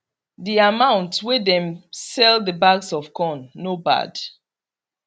the amount wey dem sell the bags of corn no bad